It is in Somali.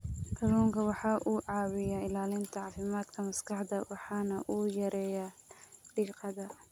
Kalluunku waxa uu caawiyaa ilaalinta caafimaadka maskaxda waxana uu yareeyaa diiqada.